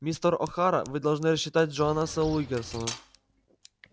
мистер охара вы должны рассчитать джонаса уилкерсона